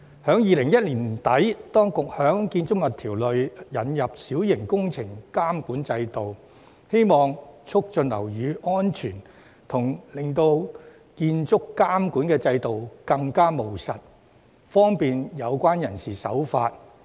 在2010年年底，當局在《建築物條例》下引入小型工程監管制度，旨在促進樓宇安全及使建築監管制度更務實，從而方便有關人士遵從。